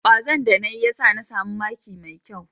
Kwazon da na yi ya sa ni samu maki mai kyau.